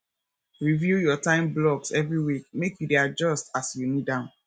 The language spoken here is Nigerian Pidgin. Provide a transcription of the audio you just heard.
review your time blocks every week make you dey adjust as you need am